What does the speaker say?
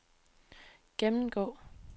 gennemgå